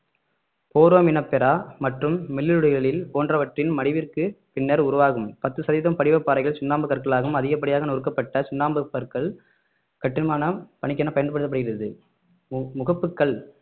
foraminifera மற்றும் மெல்லுடலிகள் போன்றவற்றின் மடிவிற்கு பின்னர் உருவாகும் பத்து சதவிகிதம் படிவப் பாறைகள் சுண்ணாம்பு கற்களாகவும் அதிகப்படியாக நொறுக்கப்பட்ட சுண்ணாம்புக்கற்கள் கட்டுமான பணிக்கென பயன்படுத்தப் படுகிறது மு~ முகப்புக்கள்